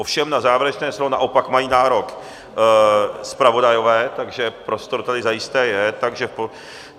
Ovšem na závěrečné slovo naopak mají nárok zpravodajové, takže prostor tady zajisté je.